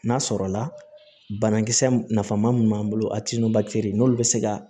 N'a sɔrɔla banakisɛ nafama mun b'an bolo a ti nɔnbacɛ n'olu be se ka